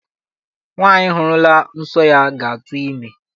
Nwaanyị hụrụla nsọ ya ga-atụ ime.